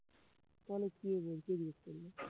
তাহলে কি বোল কি জিজ্ঞেস করলো?